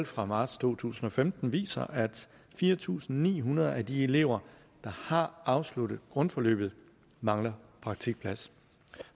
fra marts to tusind og femten og viser at fire tusind ni hundrede af de elever der har afsluttet grundforløbet mangler praktikplads